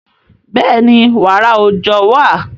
Bẹ́ẹ̀ni, wààrà òòjọ́ wà.